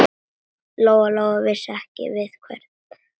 Lóa-Lóa vissi ekki við hvern.